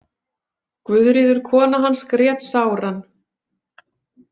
Guðríður kona hans grét sáran.